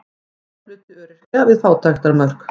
Stór hluti öryrkja við fátæktarmörk